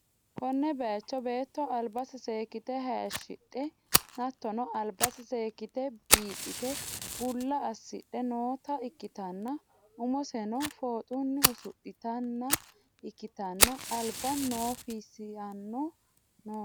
Konne bayiicho beetto albase seekkite hayishidhe hattono, albase seekkite biidhite bulla assidhe nootta ikkitanna, umoseno fooxunni usudhitinota ikkitanna, alba noifisanno noote.